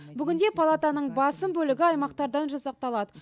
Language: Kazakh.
бүгінде палатаның басым бөлігі аймақтардан жасақталады